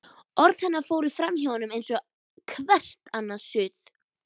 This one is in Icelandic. Orð hennar fóru framhjá honum eins og hvert annað suð.